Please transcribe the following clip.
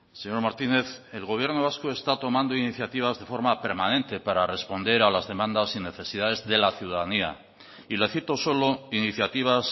señor martínez el gobierno vasco está tomando iniciativas de forma permanente para responder a las demandas y necesidades de la ciudadanía y le cito solo iniciativas